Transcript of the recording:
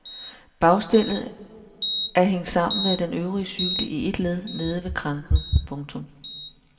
Bagstellet er hængt sammen med den øvrige cykel i et led nede ved kranken. punktum